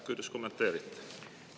Kuidas kommenteerite?